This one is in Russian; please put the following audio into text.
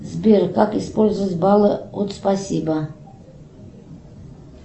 сбер как использовать баллы от спасибо